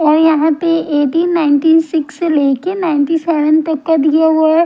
यहां पे eighteen ninety six से लेके नाइंटी सेवन तक का दिया हुआ है।